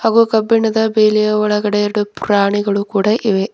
ಅಗೋ ಕಬ್ಬಿಣದ ಬೇಲಿಯ ಒಳಗಡೆ ಎರಡು ಪ್ರಾಣಿಗಳು ಕೂಡ ಇವೆ.